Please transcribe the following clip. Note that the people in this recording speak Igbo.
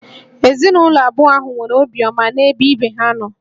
Ezinụlọ abụọ ahụ nwere obiọma n'ebe ibe ha nọ